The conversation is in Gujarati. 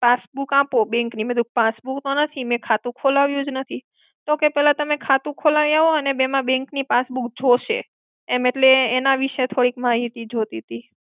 Passbook આપો bank ની. મેં કીધું passbook ઓ નથી મેં ખાતું ખોલાવ્યું જ નથી. તો કે પેલા તમે ખાતું ખોલાવી આવો, કેમકે એમાં bank ની passbook જોશે. એમ એટલે એના વિષે થોડીક માહિતી જોતીતી.